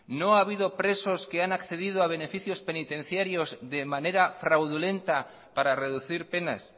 no ha habido presos que han accedido a beneficios penitenciarios de manera fraudulenta para reducir penas